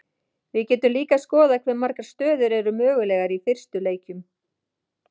við getum líka skoðað hve margar stöður eru mögulegar í fyrstu leikjum